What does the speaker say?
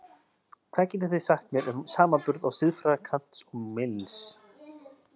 Hvað getið þið sagt mér um samanburð á siðfræði Kants og Mills?